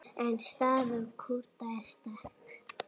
En staða Kúrda er sterk.